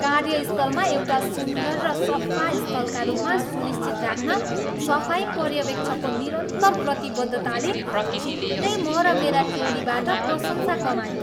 कार्यस्थललाई एउटा सुन्दर र सफा स्थलका रूपमा सुनिश्चित राख्न सफाई पर्यवेक्षकको निरन्तर प्रतिबद्धताले छिटै म र मेरा टोलीबाट प्रशंसा कमायो।